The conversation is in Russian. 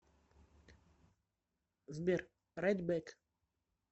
сбер райт бэк